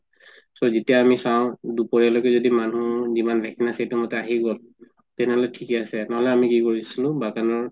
so যেতিয়া আমি চাওঁ দুপৰীয়া লৈকে যদি মানুহ যিমান vaccine আছে সেইটো মতে আহি গল তেনেহলে থিকে আছে নহলে আমি কি কৰিছিলো বাগানৰ